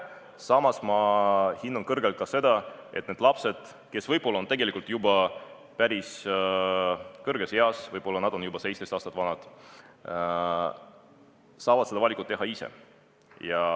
Samas ma hindan kõrgelt seda, et need lapsed, kes võib-olla pole enam väikesed, võib-olla nad on juba 17 aasta ringis, saavad selle valiku teha ise.